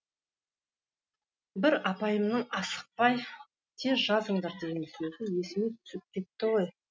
бір апайымның асықпай тез жазыңдар деген сөзі есіме түсіп кетті ғой